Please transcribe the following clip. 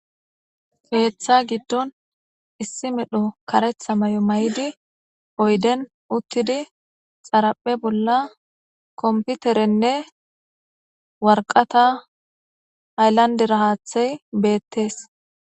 Heeththa giddon issi medho karetha mayo may7idi oyden uttidi xaraphe bolla komputerenne warqata ayllanderahaathey beettees